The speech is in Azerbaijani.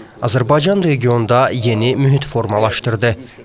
Azərbaycan regionda yeni mühit formalaşdırdı.